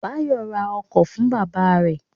Báyọ̀ ra ọkọ̀ fún bábà rẹ̀